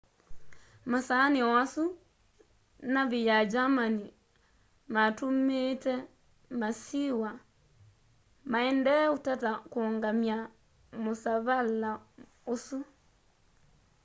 masaani o asu navi ya germani matumiite masiwa maendee utata kuungamya musavala usu